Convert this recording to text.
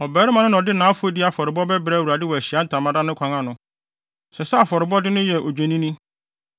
Ɔbarima no na ɔde nʼafɔdi afɔrebɔde bɛbrɛ Awurade wɔ Ahyiae Ntamadan no kwan ano. Ɛsɛ sɛ afɔrebɔde no yɛ odwennini.